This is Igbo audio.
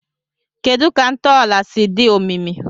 Kedu ka ntọala siri dị omimi?